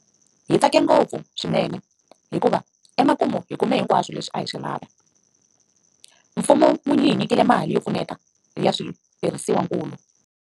Hi tsake ngopfu swinene hikuva emakumu hi kume hinkwaswo leswi a hi swi lava. Mfumo wu hi nyikile mali yo pfuneta ya switirhisiwankulu.